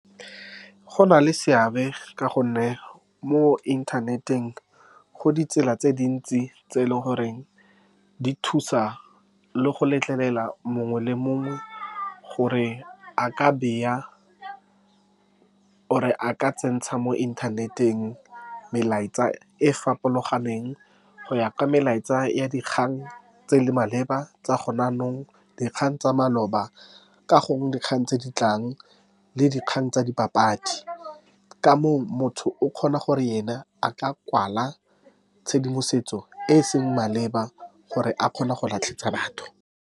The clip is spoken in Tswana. Go na le seabe, ka gonne mo inthaneteng go ditsela tse dintsi tse e leng goreng di thusa le go letlelela mongwe le mongwe gore a ka beya, or-re a ka tsentsha mo inthaneteng melaetsa e e farologaneng, go ya ka melaetsa ya dikgang tse di maleba tsa gone jaanong, dikgang tsa maloba ka gongwe, dikgang tse ditlang le dikgang tsa dipapadi. Ka moo, motho o kgona gore yena a tla kwala tshedimosetso e e seng maleba, gore a kgone go batho.